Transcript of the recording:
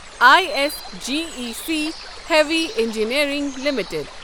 I S G E C heavy engineering limited